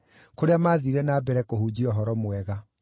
kũrĩa maathiire na mbere kũhunjia ũhoro mwega.